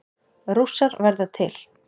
Rússar verða til